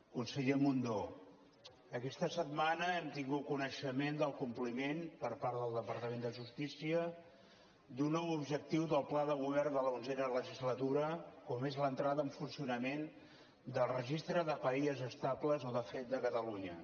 conseller mundó aquesta setmana hem tingut coneixement del compliment per part del departament de justícia d’un nou objectiu del pla de govern de l’onzena legislatura com és l’entrada en funcionament del registre de parelles estables o de fet de catalunya